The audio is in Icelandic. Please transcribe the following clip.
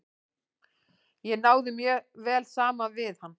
Ég náði mjög vel saman við hann.